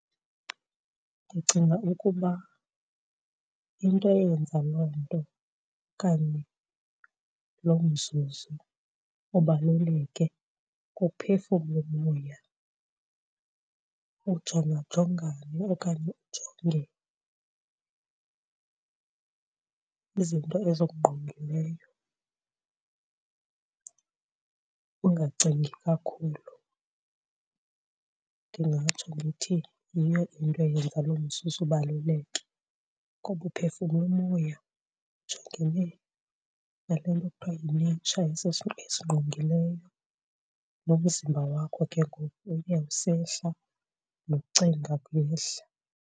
Ndicinga ukuba into eyenza loo nto okanye loo mzuzu ubaluleke kuphefumla umoya, ujongajongane okanye ujonge izinto ezikungqongileyo ungacingi kakhulu. Ndingatsho ndithi yiyo into eyenza loo mzuzu ubaluleke ngoba uphefumla umoya, ujongene nale nto kuthiwa yi-nature esingqongileyo nomzimba wakho ke ngoku uye usehla, nokucinga kuyehla.